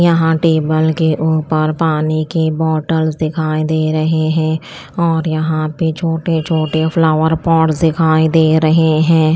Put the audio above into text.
यहां टेबल के ऊपर पानी की बॉटल्स दिखाई दे रहे हैं और यहां पे छोटे-छोटे फ्लॉवर पॉट्स दिखाई दे रहे हैं।